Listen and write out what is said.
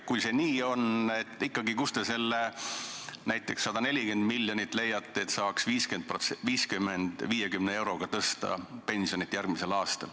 Kui see nii on, siis ikkagi, kust te näiteks leiate need 140 miljonit, et saaks järgmisel aastal 50 eurot pensioni tõsta?